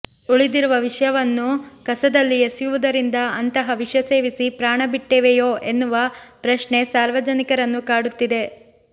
ಉಳಿದಿರುವ ವಿಷವನ್ನು ಕಸದಲ್ಲಿ ಎಸೆಯುವುದರಿಂದ ಅಂತಹ ವಿಷ ಸೇವಿಸಿ ಪ್ರಾಣ ಬಿಟ್ಟಿವೆಯೋ ಎನ್ನುವ ಪ್ರಶ್ನೆ ಸಾರ್ವಜನಿಕರನ್ನು ಕಾಡುತ್ತಿದೆ